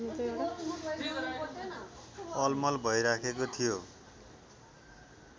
अलमल भइराखेको थियो